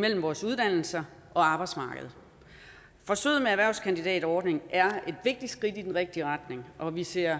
mellem vores uddannelser og arbejdsmarkedet forsøget med erhvervskandidatordningen er et vigtigt skridt i den rigtige retning og vi ser